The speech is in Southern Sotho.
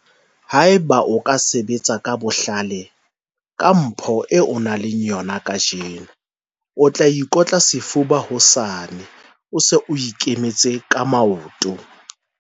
Haeba o ka sebetsa ka bohlale ka mpho eo o nang le yona kajeno, o tla ikotla sefuba hosane ha o se o ikemetse ka maoto.